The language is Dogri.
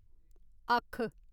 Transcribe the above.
अक्ख